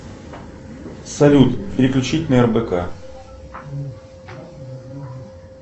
салют переключить на рбк